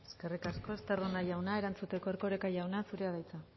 eskerrik asko estarrona jauna erantzuteko erkoreka jauna zurea da hitza